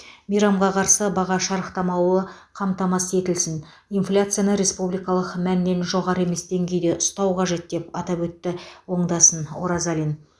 мейрамға қарсы баға шарықтамауы қамтамасыз етілсін инфляцияны республикалық мәннен жоғары емес деңгейде ұстау қажет деп атап өтті оңдасын оразалин